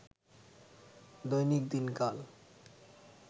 দৈনিক দিনকাল